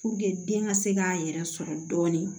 den ka se k'a yɛrɛ sɔrɔ dɔɔni